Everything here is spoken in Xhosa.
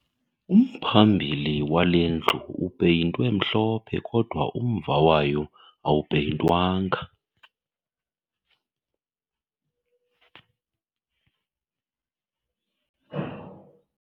Umphambili wale ndlu upeyintwe mhlophe kodwa umva wayo awupeyintwanga